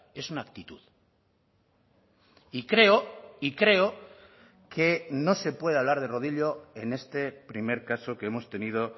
es una actitud y creo y creo que no se puede hablar de rodillo en este primer caso que hemos tenido